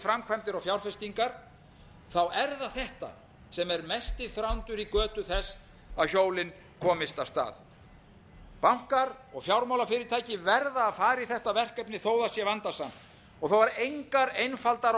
framkvæmdir og fjárfestingar er það þetta sem er mesti þrándur í götu þess að hjólin komist af stað bankar og fjármálafyrirtæki verða að fara í þetta verkefni þó það sé vandasamt og þó engar einfaldar og